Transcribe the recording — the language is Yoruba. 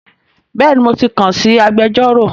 Bẹ́ẹ̀ni mo ti kàn sí agbẹjọ́rò